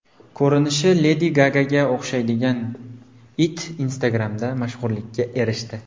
Ko‘rinishi Ledi Gagaga o‘xshaydigan it Instagram’da mashhurlikka erishdi.